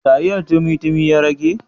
Taliyar tumi tumi ya rage?